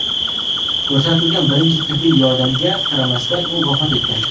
Ko‘rsatilgan birinchi tibbiy yordamga qaramasdan, u vafot etgan.